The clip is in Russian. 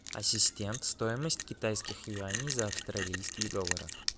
ассистент стоимость китайских юаней за австралийские доллары